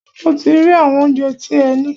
Mo ti rí àwọn óunjẹ tí ẹ ní.